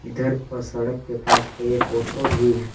इधर सड़क के पास पे एक ऑटो भी--